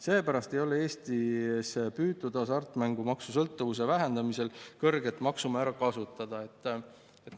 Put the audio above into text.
Seepärast ei ole Eestis püütud hasartmängusõltuvuse vähendamiseks kõrget maksumäära kasutada.